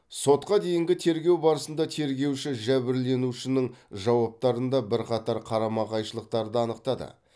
сотқа дейінгі тергеу барысында тергеуші жәбірленушінің жауаптарында бірқатар қарама қайшылықтарды анықтады